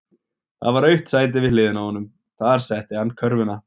Það var autt sæti við hliðina á honum, þar setti hann körfuna.